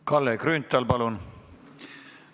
Kalle Grünthal, palun!